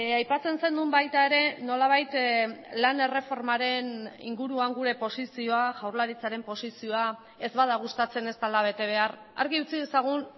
aipatzen zenuen baita ere nolabait lan erreformaren inguruan gure posizioa jaurlaritzaren posizioa ez bada gustatzen ez dela bete behar argi utzi dezagun